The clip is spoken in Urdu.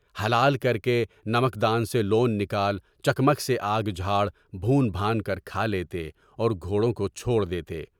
حلال کر کے نمکدان سے لون نکال، چکمک سے آگ جھاڑ، بھون بھان کر کھا لیتے اور گھوڑوں کو چھوڑ دیتے۔